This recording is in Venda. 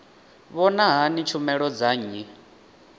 vhona hani tshumelo dza nnyi